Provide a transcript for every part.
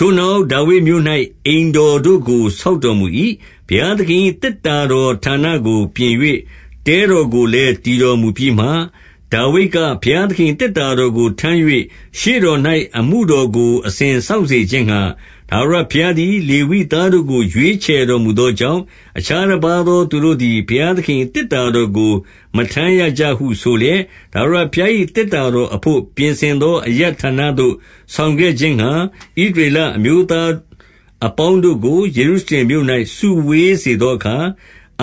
ထိုနောက်ဒါဝိဒ်မြို့၌ အိမ်တော်တို့ကို ဆောက် တော်မူ၏။ ဘုရားသခင်၏ သေတ္တာတော်ဌာနကို ပြင်၍ တဲတော်ကိုလည်း တည်တော်မူပြီးမှ၊ 2 ဒါဝိဒ်က၊ ဘုရားသခင်၏ သေတ္တာတော်ကို ထမ်း၍ ရှေ့တော်၌ အမှုတော်ကို အစဉ်စောင့်စေခြင်းငှါ ထာဝရဘုရားသည် လေဝိသားတို့ကို ရွေးချယ်တော်မူ သောကြောင့်၊ အခြားတပါးသော သူတို့သည် ဘုရားသခင် ၏ သေတ္တာတော်ကို မထမ်းရကြဟုဆိုလျက်၊ 3 ထာဝရဘုရား၏ သေတ္တာတော်အဘို့ ပြင်ဆင် သော အရပ်ဌာနသို့ ဆောင်ခဲ့ခြင်းငှါ ဣသရေလအမျိုး သားအပေါင်းတို့ကို ယေရုရှလင်မြို့၌ စုဝေးစေသောအခါ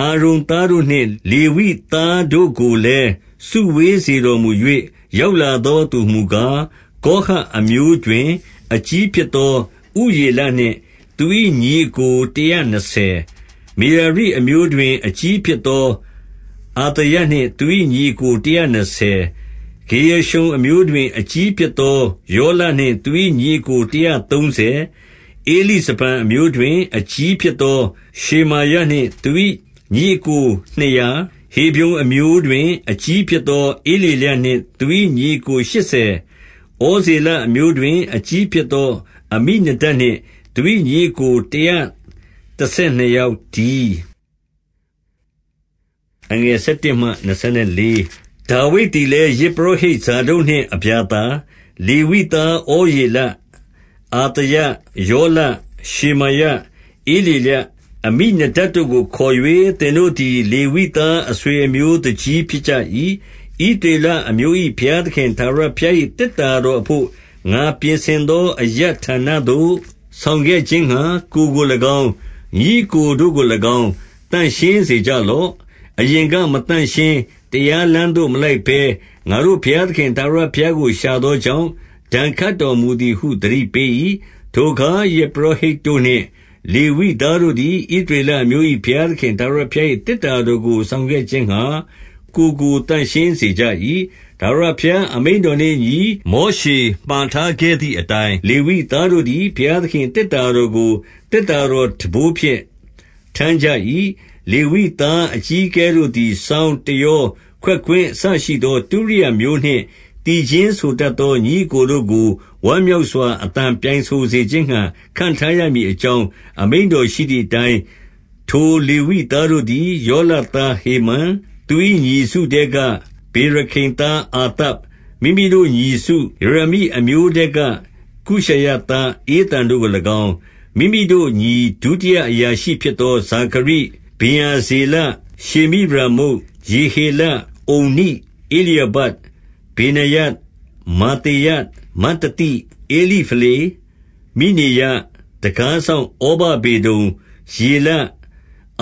၊ 4 အာရုန်သားတို့နှင့် လေဝိသားတို့ကိုလည်း စုဝေး စေတော်မူ၍ ရောက်လာသောသူဟူမူကား၊ 5 ကောဟတ်အမျိုးတွင် အကြီးဖြစ်သော ဥရေလ နှင့် သူ၏ညီအစ်ကိုတရာနှစ်ဆယ်၊ 6 မေရာရိအမျိုးတွင် အကြီးဖြစ်သော အသာယ နှင့်သူ၏ညီအစ်ကိုတရာနှစ်ဆယ်၊ 7 ဂေရရှုံအမျိုးတွင် အကြီးဖြစ်သော ယောလနှင့် သူ၏ညီအစ်ကို တရာသုံးဆယ်၊ 8 ဧလိဇဖန်အမျိုးတွင် အကြီးဖြစ်သော ရှေမာယ နှင့်သူ၏ညီအစ်ကိုနှစ်ရာ 9 ဟေဗြုန်အမျိုးတွင် အကြီးဖြစ်သော ဧလျေလ နှင့် သူ၏ညီအစ်ကိုရှစ်ဆယ်၊ 10 ဩဇေလအမျိုးတွင် အကြီးဖြစ်သော အမိနဒပ် နှင့်သူ၏ညီအစ်ကို တရာတဆယ်နှစ်ယောက်တည်း။ 11 ဒါဝိဒ်သည်လည်း ယဇ်ပုရောဟိတ် ဇာဒုတ်နှင့် အဗျာသာ၊ လေဝိသား ဩရေလ၊ အသာယ၊ ယောလ၊ ရှေမာယ၊ ဧလျေလ၊ အမိနဒပ်တို့ကို ခေါ်၍၊ 12 သင်တို့သည် လေဝိသားအဆွေအမျိုးသူကြီး ဖြစ်ကြ၏။ ဣသရေလအမျိုး၏ ဘုရားသခင် ထာဝရ ဘုရား၏ သေတ္တာတော်အဘို့ ငါပြင်ဆင်သော အရပ် ဌာနသို့ ဆောင်ခဲ့ခြင်းငှါ ကိုယ်ကို၎င်း၊ ညီအစ်ကိုတို့ ကို၎င်း၊ သန့်ရှင်းစေကြလော့။ 13 အရင်ကမသန့်ရှင်း၊ တရားလမ်းသို့ မလိုက်ဘဲ ငါတို့ဘုရားသခင် ထာဝရဘုရားကို ရှာသောကြောင့် ဒဏ်ခတ်တော်မူသည်ဟု သတိပေး၏။ 14 ထိုအခါ ယဇ်ပုရောဟိတ်တို့နှင့် လေဝိသား တို့သည်၊ ဣသရေလအမျိုး၏ ဘုရားသခင်ထာဝရဘုရား ၏သေတ္တာတော်ကို ဆောင်ခဲ့ခြင်းငှါ ကိုယ်ကိုသန့်ရှင်းစေ ကြ၏။ 15 ထာဝရဘုရားအမိန့်တော်နှင့်အညီ မောရှေ မှာထားခဲ့သည်အတိုင်း၊ လေဝိသားတို့သည် ဘုရားသခင် ၏ သေတ္တာတော်ကို သေတ္တာတော်ထမ်းဘိုးဖြင့် ထမ်းကြ ၏။ 16 လေဝိသားအကြီးအကဲတို့သည် စောင်း၊ တယော၊ ခွက်ကွင်းအစရှိသော တုရိယာမျိုးနှင့် သီချင်းဆိုတတ် သော ညီအစ်ကိုတို့ကို ဝမ်းမြောက်စွာ အသံပြိုင် ဆိုစေခြင်းငှါ ခန့်ထားရမည်အကြောင်း အမိန့်တော်ရှိ သည်အတိုင်း၊ 17 ထိုလေဝိသားတို့သည် ယောလသားဟေမန်၊ သူ၏ညီစုထဲက ဗေရခိသားအာသပ်၊ မိမိတို့ညီစု၊ မေရာရိ အမျိုးထဲက ကုရှာယသားဧသန်တို့ကို၎င်း၊ 18 မိမိတို့ညီဒုတိယအရာရှိဖြစ်သော ဇာခရိ၊ ဗင်္ယာဇေလ၊ ရှေမိရာမုတ်၊ ယေဟေလ၊ ဥန္နိ၊ ဧလျာဘ၊ ဗေနာယ၊ မာသေယ၊ မတ္တိသိ၊ ဧလိဖလေ၊ မိတ်နေယ၊ တံခါးစောင့်ဩဗဒေဒုံ၊ ယေလ၊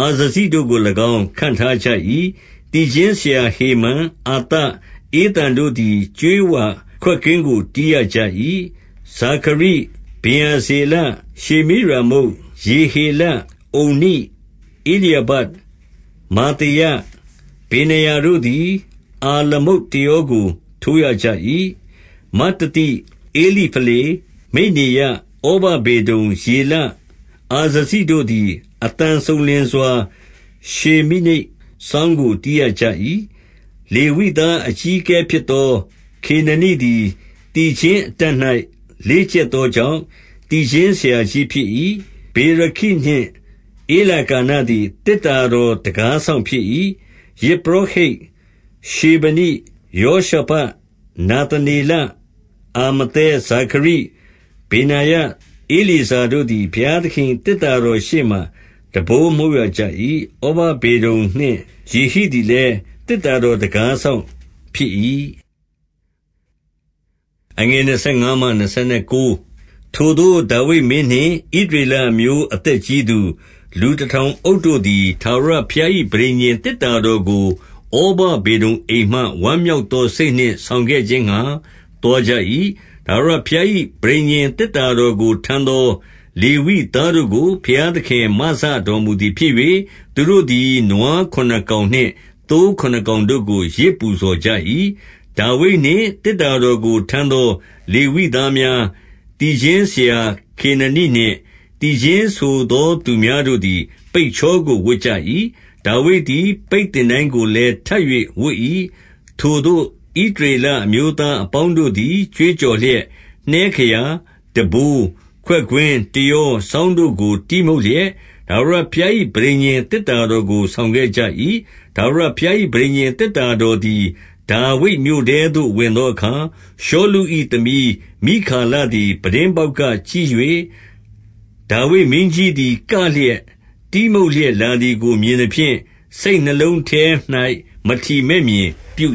အာဇဇိတို့ကို၎င်း ခန့်ထားကြ၏။ 19 သီချင်းဆရာဟေမန်၊ အာသပ်၊ ဧသန်တို့သည် ကြေးဝါခွက်ကွင်းကို တီးရကြ၏။ 20 ဇာခရိ၊ ဗင်္ယာဇေလ၊ ရှေမိရာမုတ်၊ ယေဟေလ၊ ဥန္နိ၊ ဧလျာဘ၊ မာသေယ၊ ဗေနာယတို့သည် အာလမုတ် တယောကို ထိုးရကြ၏။ 21 မတ္တိသိ၊ ဧလိဖလေ၊ မိတ်နေယ၊ ဩဗဒေဒုံ၊ ယေလ၊ အာဇဇိတို့သည် အသံစုံလင်စွာ ရှေမိနိတ်စောင်း ကို တီးရကြ၏။ 22 လေဝိသားအကြီးအကဲဖြစ်သော ခေနနိသည် သီချင်းအတတ်၌ လေ့ကျက်သောကြောင့် သီချင်း ဆရာကြီးဖြစ်၏။ 23 ဗေရခိနှင့် ဧလကာနသည် သေတ္တာတော်တံခါး စောင့်ဖြစ်၏။ 24 ယဇ်ပုရောဟိတ်ရှေဗနိ၊ ယောရှဖတ်၊ နာသ နေလ၊ အာမသဲ၊ ဇာခရိ၊ ဗေနာယ၊ ဧလျေဇာတို့သည် ဘုရားသခင်၏ သေတ္တာတော်ရှေ့မှာ တံပိုးမှုတ်ရကြ၏။ ဩဗဒေဒုံနှင့် ယေဟိသည်လည်း သေတ္တာတော်တံခါး စောင့်ဖြစ်၏ ။ 25 ထိုသို့ဒါဝိဒ်မင်းနှင့် ဣသရေလအမျိုးအသက် ကြီးသူ၊ လူတထောင်အုပ်တို့သည် ထာဝရဘုရား၏ ပဋိညာဉ်သေတ္တာတော်ကို၊ ဩဗဒေဒုံအိမ်မှ ဝမ်းမြောက် သောစိတ်နှင့် ဆောင်ခဲ့ခြင်းငှါ သွားကြ၏။ 26 ထာဝရဘုရား၏ ပဋိညာဉ် သေတ္တာတော် ကို ထမ်းသော လေဝိသားတို့ကို ဘုရားသခင် မစတော် မူသည်ဖြစ်၍၊ သူတို့သည် နွားခုနစ်ကောင်နှင့် သိုးခုနစ် ကောင်တို့ကို ယဇ်ပူဇော်ကြ၏။ 27 ဒါဝိဒ်နှင့် သေတ္တာတော်ကို ထမ်းသော လေဝိ သားများ၊ သီချင်းဆရာခေနနိနှင့် သီချင်းဆိုသူများတို့ သည် ပိတ်ချောကိုဝတ်ကြ၏။ ဒါဝိဒ်သည် ပိတ်သင်တိုင်း ကိုလည်း ထပ်၍ဝတ်၏။ 28 ထိုသို့ ဣသရေလအမျိုးသားအပေါင်းတို့သည် ကြွေးကြော်လျက်၊ နှဲခရာ၊ တံပိုး၊ ခွက်ကွင်း၊ တယော၊ စောင်းတို့ကို တီးမှုတ်လျက်၊ ထာဝရဘုရား၏ ပဋိညာဉ် သေတ္တာတော်ကို ဆောင်ခဲ့ကြ၏။ 29 ထာဝရဘုရား၏ ပဋိညာဉ်သေတ္တာတော်သည်။ ဒါဝိဒ်မြို့နထဲသို့ဝင်သောအခါ၊ ရှောလု၏ သမီးမိခါလ သည် ပြတင်းပေါက်ကကြည့်၍၊ ဒါဝိဒ်မင်းကြီးသည် ကလျက်တီးမှုတ်လျက်လာသည်ကို မြင်သဖြင့် စိတ်နှလုံး ထဲ၌ မထီမဲ့မြင်ပြု